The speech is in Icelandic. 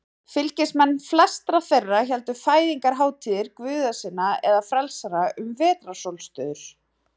Fylgismenn flestra þeirra héldu fæðingarhátíðir guða sinna eða frelsara um vetrarsólstöður.